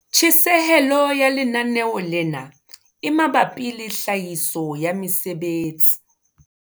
Tjhesehelo ya lenaneo lena e mabapi le tlhahiso ya mesebetsi